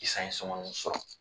sɔngɔnin sɔrɔ